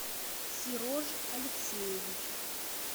серож алексеевич